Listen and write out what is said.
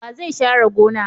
Wa zai share gona?